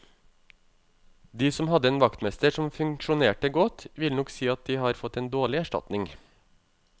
De som hadde en vaktmester som funksjonerte godt, vil nok si at de har fått en dårlig erstatning.